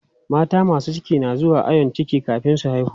Mata masu ciki na zuwa ayon ciki kafin su haihu.